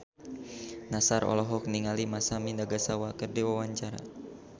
Nassar olohok ningali Masami Nagasawa keur diwawancara